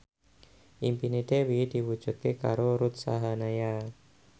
impine Dewi diwujudke karo Ruth Sahanaya